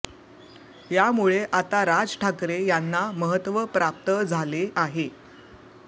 यामुळे आता राज ठाकरे यांना महत्त्व प्राप्त झाले आहे